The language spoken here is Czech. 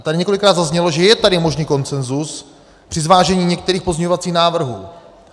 A tady několikrát zaznělo, že je tady možný konsenzus při zvážení některých pozměňovacích návrhů.